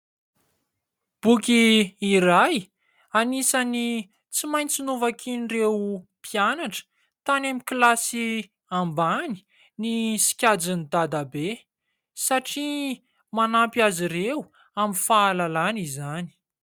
Boky iray anisany tsy maintsy novakian' ireo mpianatra tany amin'ny kilasy ambany ny "Sikajin'i dadabe" satria manampy azy ireo amin'ny fahalalana izany.